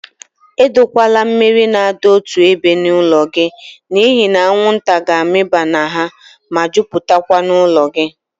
Edokwala mmiri na adọ otu ébé n'ụlọ gị n'ihi na anwụnta ga-amụba na ha, ma jupụtakwa n'ụlọ gị.